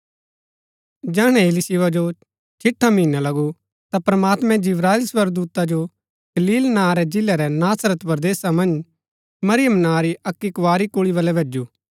जैहणै इलीशिबा जो छिठा महीना लगु ता प्रमात्मैं जिब्राएल स्वर्गदूता जो गलील नां रै जिलै रै नासरत परदेसा मन्ज मरीयम नां री अक्की कुँवारी कुल्ळी वल्लै भैजु